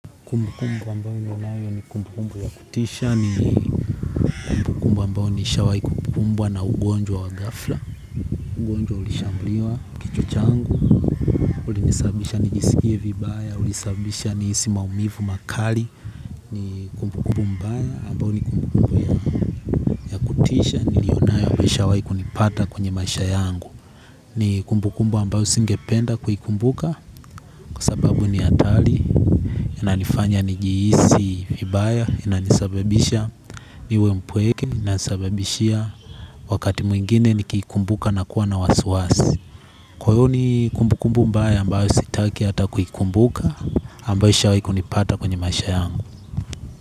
Kumbukumbu ambayo nionayo ni kumbukumbu ya kutisha ni kumbukumbu ambayo nishawai ku kumbwa na ugonjwa wa ghafla, ugonjwa ulishambulia, kichwa changu, ulinisababisha nijisikie vibaya, ulisababisha nihisi maumivu makali, ni kumbukumbu mbaya ambayo ni kumbukumbu ya kutisha nilio nayo ambayo ishawai kunipata kwenye maisha yangu. Ni kumbukumbu ambayo singependa kuikumbuka kwa sababu ni hatari inanifanya nijihisi vibaya inanisababisha niwe mpweke inanisababishia wakati mwingine nikiikumbuka na kuwa na wasiwasi kwa hiyo ni kumbukumbu mbaya ambayo sitaki ata kuikumbuka ambayo ishawahi kunipata kwenye maisha yangu.